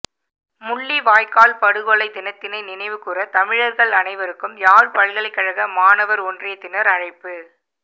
முள்ளிவாய்க்கால் படுகொலை தினத்தினை நினைவுகூற தமிழர்கள் அனைவருக்கும் யாழ்ப்பல்கலைக்கழக மாணவர் ஒன்றியத்தினர் அழைப்பு